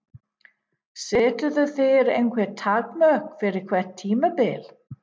Seturðu þér einhver takmörk fyrir hvert tímabil?